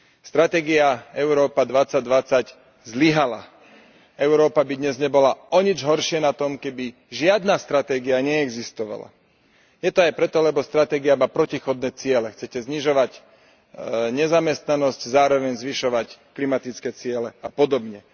Stratégia Európa 2020 zlyhala. Európa by dnes nebola o nič horšie na tom, keby žiadna stratégia neexistovala. Je to aj preto, lebo stratégia má protichodné ciele chcete znižovať nezamestnanosť, zároveň zvyšovať klimatické ciele a podobne.